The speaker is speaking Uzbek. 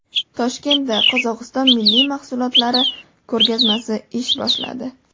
Toshkentda Qozog‘iston milliy mahsulotlari ko‘rgazmasi ish boshladi .